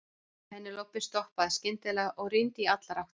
Penélope stoppaði skyndilega og rýndi í allar áttir.